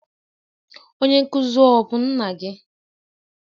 Onye nkuzi ọ bụ nna gị?